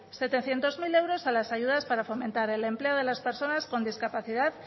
setecientos mil euros a las ayudas para fomentar el empleo de las personas con discapacidad